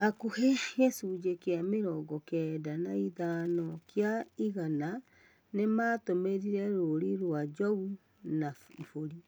Hakuhĩ gĩcujĩ kia mĩrongo kenda na ithano kia igana nĩmatũmĩrire rũũri rwa njogu na ibũri